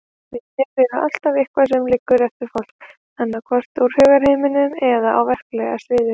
Minjar er alltaf eitthvað sem liggur eftir fólk, annaðhvort úr hugarheiminum eða á verklega sviðinu.